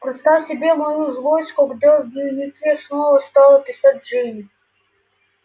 представь себе мою злость когда в дневнике снова стала писать джинни